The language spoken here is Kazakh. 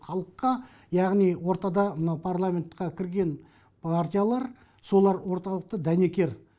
халыққа яғни ортада мына парламентқа кірген партиялар солар орталықта дәнекер